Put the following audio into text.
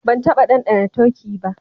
Ban taba dandana turkey ba.